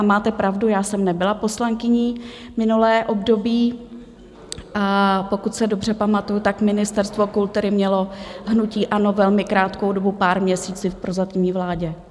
A máte pravdu, já jsem nebyla poslankyní minulé období, a pokud se dobře pamatuji, tak Ministerstvo kultury mělo hnutí ANO velmi krátkou dobu, pár měsíců v prozatímní vládě.